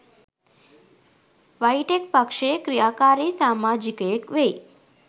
වයිටෙක් පක්ෂයේ ක්‍රියාකාරී සාමාජිකයෙක් වෙයි